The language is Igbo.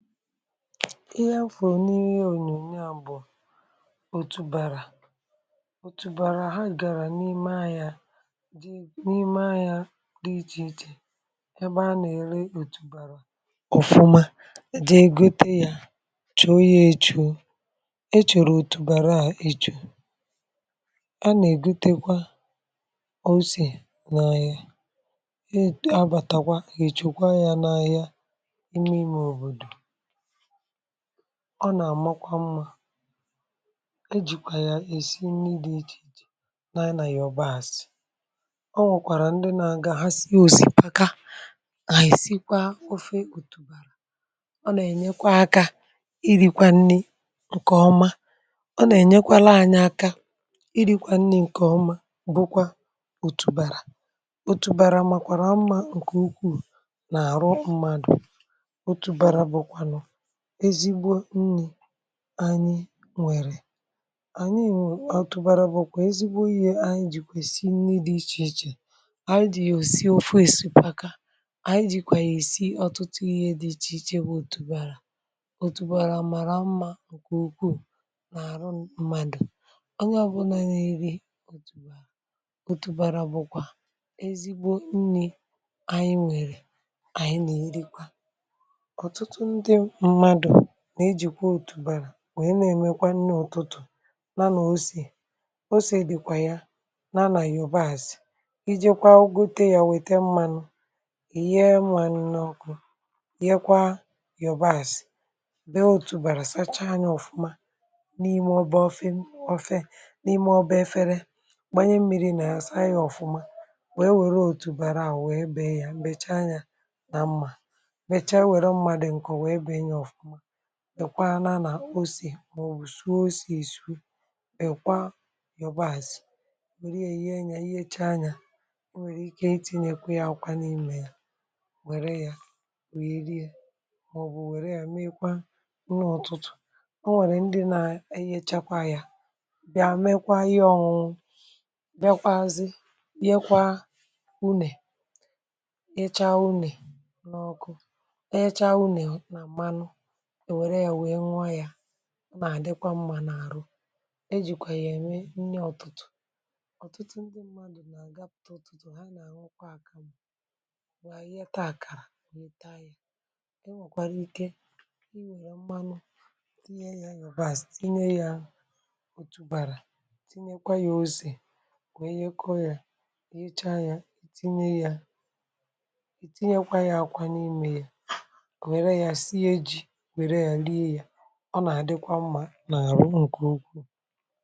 ihe afọ nii ya ònyònyo a bụ̀ òtùbara òtùbara ha gàrà n’ime ahia dị n’ime ahia dị ichè ichè ebe a nà-ère òtùbara ọ̀fụma dị egote ya chò ya èchò e chòrò òtùbara a èchò a nà-egotekwa ose n’anya e abàtakwa èchòkwa ya n’anya ọ nà-àmakwa mmȧ ejìkwà yà èsi nni dị̇ ichè jè nà ị nà yà ọbaàsị̀ ọ nwèkwàrà ndị nà-aga ha si òsìpaka nà èsikwa ofe òtùbàrà ọ nà-ènyekwa akȧ iri̇kwa nni ǹkè ọma ọ nà-ènyekwȧrȧ anya aka iri̇kwȧ nni ǹkè ọma bụkwa òtùbàrà otùbàrà màkwàrà ọma ǹkè ukwuu nà-àrụ Mmȧdụ̀ otubara bukwanu ezigbo nni anyị nwèrè otụ̀bàrà bụ̀ kwà ezigbo ihe anyị jì kwèsì nri dị̇ ichè ichè anyị dị̀ yà òsi ofe osipaka anyị jì kwà yà ìsi ọ̀tụtụ ihe dị̇ ichè ichè bụ̀ òtùbàrà òtùbàrà màrà mmȧ nke òkù nà àrụ mmadù onye ọ̀bụnà na iri òtùbàrà bụ̀kwà ezigbo nni̇ anyị nwèrè anyị nà-èrikwa otutu ndi mmadu nà ejìkwà òtùbàrà wèe na-èmekwa nne ọtụtụ̀ nȧ osì osì dị̀kwà ya na anà yobààsị̀ iji̇kwa ugote yȧ wète mmȧnụ̇ ìyee mùanụ̇ nọkụ yekwa yòbààsị̀ be à òtùbàrà sacha nyȧ ọ̀fụma n’ime ọ bụ ofe m ofe n’ime ọ̀bụ efere gbànye mmiri̇ nà asa yȧ ọ̀fụma wèe wère òtùbàrà à wèe bèe yà m̀becha yȧ nà mmà mmecha were mma di nko wee bee ya ofuma dịkwa nȧ nà osì mà ọ̀ bụ̀ suo osì èsu ị̀ kwa ọ̀bọazị̀ nwèrè ya yihecha yȧ ihecha yȧ ọ nwèrè ike iti̇nyekwu ya akwa n’imė yȧ nwère yȧ wèghị̇iri yȧ ọ bụ̀ nwère yȧ mekwa nni ọ̀tụtụ̀ ọ nwèrè ndị nȧ ehichakwa yȧ bịa mekwa ihe ọ̀ hụ̀ bịakwazị yekwa unè ịcha unè n’ọkụ mà àdịkwa mma n’àrụ e jìkwè yà ème nne ọ̀tụtụ̀ ọ̀tụtụ ndị mmadụ̀ m̀a gape ọ̀tụtụ ha nà àhụklwa àkàmụ̀ nwà àyịeta àkàrà weta yȧ e nwèkwara ikė i nwèrè mmanụ tinye yȧ yȧ bàs tinye yȧ òtùbàrà tinye kwa yȧ ose wèe yekọ yȧ e echa yȧ i tinye yȧ i tinye kwa yȧ akwȧ n’ime yȧ were sie ji were ya lie ya ọ na-adịkwa mmȧ na-arụ nguugwu